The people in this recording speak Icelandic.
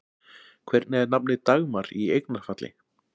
Hvernig er nafnið Dagmar í eignarfalli?